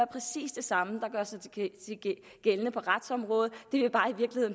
præcis det samme der gør sig gældende på retsområdet